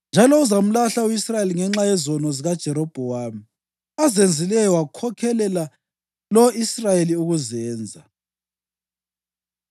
Njalo uzamlahla u-Israyeli ngenxa yezono zikaJerobhowamu azenzileyo wakhokhelela lo-Israyeli ukuzenza.”